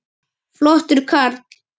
Flottur kall.